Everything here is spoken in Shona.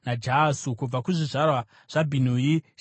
Kubva kuzvizvarwa zvaBhinui: Shimei,